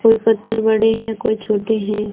कोई पत्थर बड़े हैं कोई छोटे हैं।